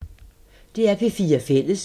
DR P4 Fælles